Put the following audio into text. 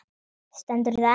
Stendur það enn?